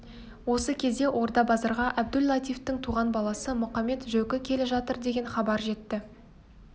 осы кезде орда-базарға әбду-латифтың туған баласы мұқамет-жөкі келе жатыр деген хабар жетті